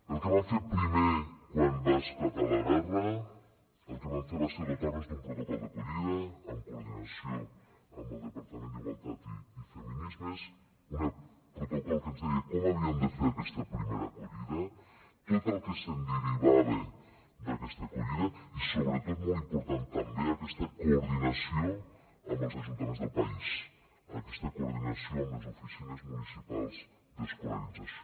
el que vam fer primer quan va esclatar la guerra el que vam fer va ser dotar nos d’un protocol d’acollida amb coordinació amb el departament d’igualtat i feminismes un protocol que ens deia com havíem de fer aquesta primera acollida tot el que se’n derivava d’aquesta acollida i sobretot molt important també aquesta coordinació amb els ajuntaments del país aquesta coordinació amb les oficines municipals d’escolarització